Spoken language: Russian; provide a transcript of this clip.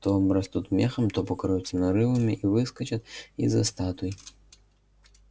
то обрастут мехом то покроются нарывами и выскочат из-за статуй